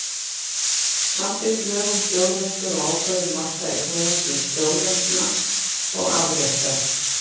Samþykkt lög um þjóðlendur og ákvörðun marka eignarlands, þjóðlendna og afrétta.